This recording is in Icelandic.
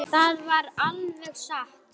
Hún japlaði á líminu.